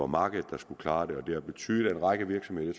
markedet der skulle klare det det har betydet at en række virksomheder